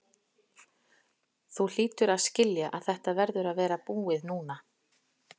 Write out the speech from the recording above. Þú hlýtur að skilja að þetta verður að vera búið núna.